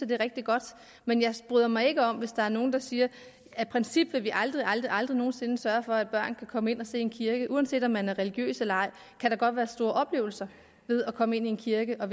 det er rigtig godt men jeg bryder mig ikke om det hvis der er nogen der siger af princip vil vi aldrig aldrig aldrig nogen sinde sørge for at børn kan komme ind og se en kirke uanset om man er religiøs eller ej kan der godt være store oplevelser ved at komme ind i en kirke og